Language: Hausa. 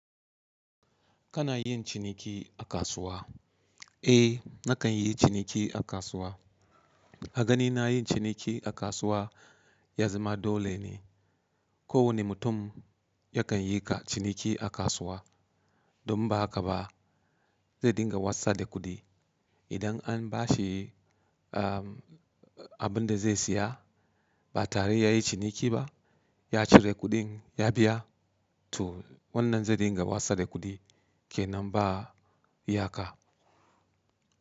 Kana yin ciniki a kasuwa? Eh nakan yi ciniki a kasuwa. A ganina yin ciniki a kasuwa ya zama dole ne. Ko wani mutum yakan yi ciniki a kasuwa. Don inba haka ba zai dinga wasar da kuɗi. Idan an bashi abin da zai saya ba tare ya yi ciniki ba, ya cire kuɗin ya biya to wannan zai dinga wasa da kuɗi kenan ba iyaka.